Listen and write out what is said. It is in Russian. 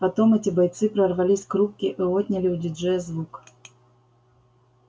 потом эти бойцы прорвались к рубке и отняли у диджея звук